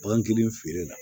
Bagan kelen feere la